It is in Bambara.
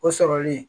O sɔrɔli